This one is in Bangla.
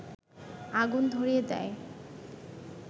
আগুন ধরিয়ে দেয়